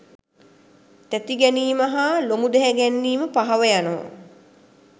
තැතිගැනීම හා ලොමුදැහැ ගැනීම පහව යනව.